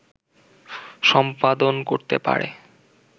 সম্পাদন করতে পারে